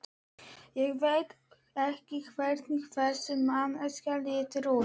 Ég veit ekki hvernig þessi manneskja lítur út.